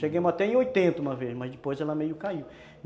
Chegamos até em oitenta uma vez, mas depois ela meio caiu.